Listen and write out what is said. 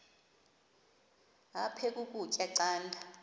aphek ukutya canda